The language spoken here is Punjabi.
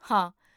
ਹਾਂ